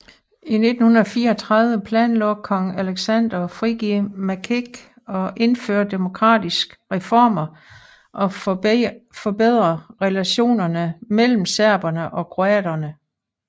I 1934 planlagde kong Aleksander at frigive Maček og indføre demokratiske reformer og forbedre relationerne mellem serbere og kroatere